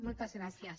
moltes gràcies